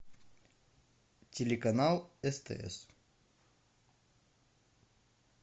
телеканал стс